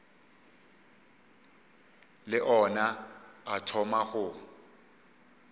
le ona a thoma go